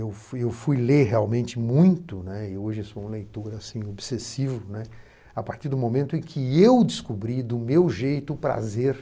Eu fui fui ler realmente muito, né, e hoje sou um leitor obsessivo, né, a partir do momento em que eu descobri, do meu jeito, o prazer.